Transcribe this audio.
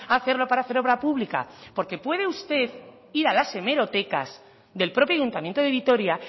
hacerlo para hacer obra pública porque puede usted ir a las hemerotecas del propio ayuntamiento de vitoria